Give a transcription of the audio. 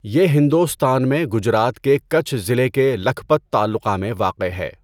یہ ہندوستان میں، گجرات کے کَچھ ضلع کے لکھپت تعلقہ میں واقع ہے۔